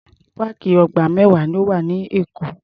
Páàkì ọgbà mẹ́wàá ló wà ní Èkó.